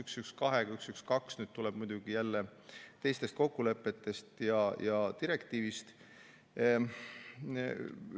Muidugi, 112 tuleb jälle teistest kokkulepetest ja direktiivist.